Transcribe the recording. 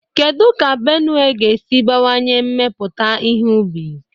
Kedu ka Benue ga-esi bawanye mmepụta ihe ubi?